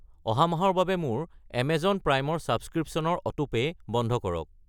অহা মাহৰ বাবে মোৰ এমেজন প্ৰাইম ছাবস্ক্ৰিপশ্য়নৰ অটোপে' বন্ধ কৰক।